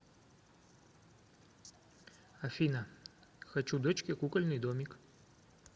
афина хочу дочке кукольный домик